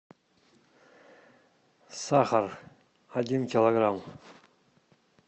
сахар один килограмм